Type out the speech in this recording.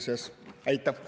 Aitäh!